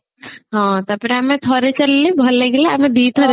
ହଁ ତାପରେ ଆମେ ଥରେ ଚାଲିଲେ ଆମକୁ ଭଲ ଲାଗିଲା ଆମେ ଦିଥର